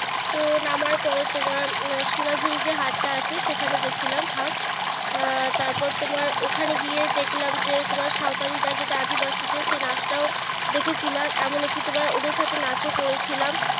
তো নামার পরে তোমার সোনাচুরে যে হাট টা আছে সেখানে গেছিলাম first আহ তারপর তোমার, ওখনে গিয়ে দেখালাম যে তোমার সাঁওতালিরা যেটা আদিবাসীদের সেই নাচ টাও দেখাচিলাম। এমনকি তোমার ওদের সাথে নাচও করেছিলাম।